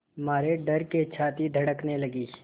मारे डर के छाती धड़कने लगी